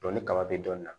ni kaba bɛ dɔnni na